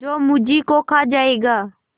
जो मुझी को खा जायगा